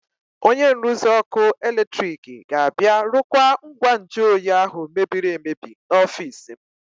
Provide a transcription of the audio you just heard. Onye nruzi ọkụ eletrik ga-abịa rụkwaa ngwa nju oyi ahụ mebiri emebi n'ọfiisi m.